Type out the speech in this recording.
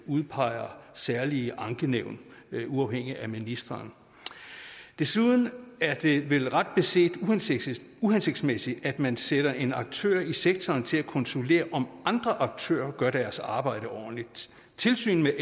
udpeger særlige ankenævn der er uafhængige af ministeren desuden er det vel ret beset uhensigtsmæssigt uhensigtsmæssigt at man sætter en aktør i sektoren til at kontrollere om andre aktører gør deres arbejde ordentligt tilsynet